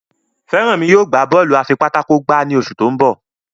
Feranmi yóò gbà Bọ́ọ̀lù afipátákó gbá ní oṣù to'n bọ